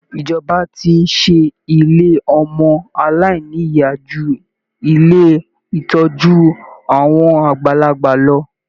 Ìjọba ti ń ṣe ilé ọmọ aláìnìyá ju ilé ìtọ́jú àwọn àgbàlagbà lọ